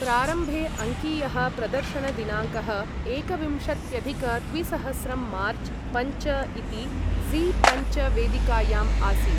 प्रारम्भे अङ्कीयः प्रदर्शनदिनाङ्कः एकविंशत्यधिक द्विसहस्रं मार्च् पञ्च इति ज़ी पञ्च वेदिकायाम् आसीत्।